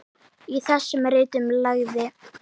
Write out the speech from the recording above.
Í þessum ritum lagði